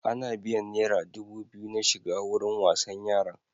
Ana biyan naira dubu biyu na shiga wurin wasan yaran.